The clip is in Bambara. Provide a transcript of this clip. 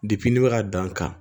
ne bɛ ka dan kan